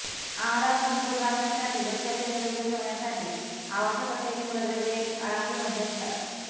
आहारात समतोल राखण्यासाठी व शरीर निरोगी ठेवण्यासाठी आवश्यक असलेली मूलद्रव्ये अळंबीमध्ये असतात